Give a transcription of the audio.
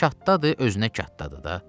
Çatdadır, özünə çatdadır da.